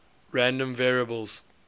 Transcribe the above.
random variables